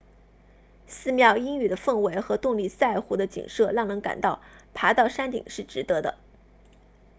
寺庙阴郁的氛围和洞里萨湖 tonle sap 的景色让人感到爬到山顶是值得的